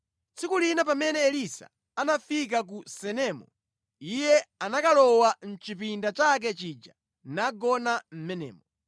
Tsiku lina pamene Elisa anafika ku Sunemu, iye anakalowa mʼchipinda chake chija nagona mʼmenemo.